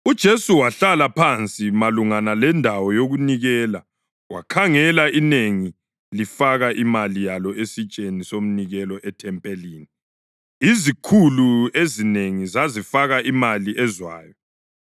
UJesu wahlala phansi malungana lendawo yokunikela wakhangela inengi lifaka imali yalo esitsheni somnikelo ethempelini: Izikhulu ezinengi zazifaka imali ezwayo.